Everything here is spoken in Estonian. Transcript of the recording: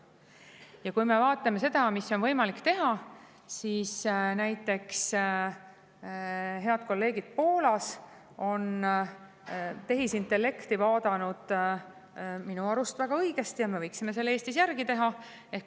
Ja kui me vaatame seda, mida on võimalik teha, siis näiteks head kolleegid Poolas on tehisintellekti minu arust väga õigesti ja me võiksime seda Eestis järgi teha.